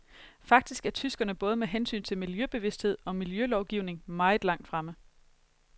Faktisk er tyskerne både med hensyn til miljøbevidsthed og miljølovgivning meget langt fremme.